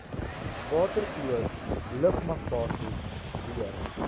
waterkloof lugmagbasis weer